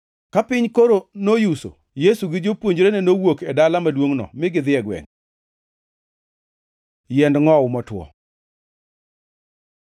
Ka piny koro noyuso, Yesu gi jopuonjre nowuok e dala maduongʼno mi gidhi e gwenge. Yiend ngʼowu motwo